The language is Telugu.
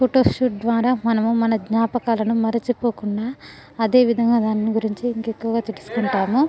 ఫోటో షూట్ ద్వార మనము మన జ్ఞాపకాలను మరిచిపోకుండా అధేవిధంగా దాని గురించి ఇంకా యెక్కువగా తెలుసుకుంటాము .